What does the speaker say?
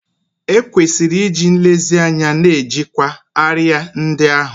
E kwesịrị iji nlezianya na-ejikwa árịà ndị ahụ